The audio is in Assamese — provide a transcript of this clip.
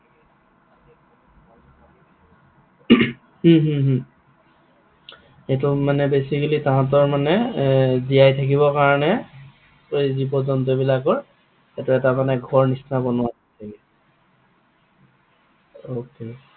হম হম হম এইটো মানে basically তাহাতৰ মানে জীয়াই থাকিবৰ কাৰণে জীৱ জন্তু বিলাকৰ সেইটো কাৰণে ঘৰ নিচিনা বনোৱা হৈছে মানে? okay